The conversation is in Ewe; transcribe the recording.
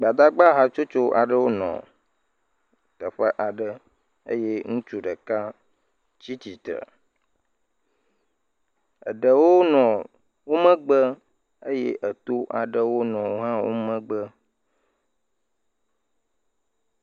Gbadagba hatsotso aɖewo nɔ teƒe aɖe eye ŋutsu ɖeka tsi tsitre, eɖewo nɔ wo megbe eye eto aɖewo hã nɔ wo megbe.